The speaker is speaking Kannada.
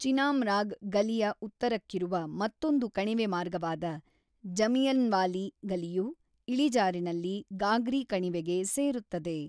ಚಿನಾಮ್ರಾಗ್ ಗಲಿಯ ಉತ್ತರಕ್ಕಿರುವ ಮತ್ತೊಂದು ಕಣಿವೆಮಾರ್ಗವಾದ ಜಮಿಯನ್ವಾಲಿ ಗಲಿಯು ಇಳಿಜಾರಿನಲ್ಲಿ ಗಾಗ್ರಿ ಕಣಿವೆಗೆ ಸೇರುತ್ತದೆ.